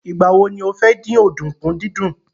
Ìgbà wo ni o fẹ́ dín ọ̀dùnkún dídún?